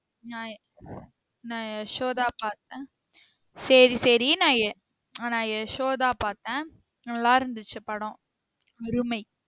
நா நா யசோதா பாத்தேன் சேரி சேரி நா நா யசோதா பாத்தேன் நல்ல இருந்துச்சு படம் அருமை